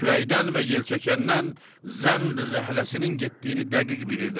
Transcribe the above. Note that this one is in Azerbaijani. Küləkdən və yelçəkəndən zənd-i-zəhləsinin getdiyini dəqiq bilirdim.